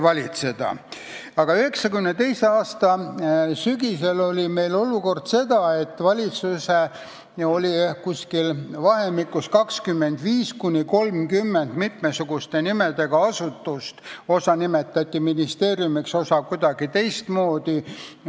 1992. aasta sügisel oli meil olukord selline, et riigi valitsemiseks oli vahemikus 25–30 mitmesuguste nimedega asutust – osa neist nimetati ministeeriumiks, osa kuidagi teistmoodi.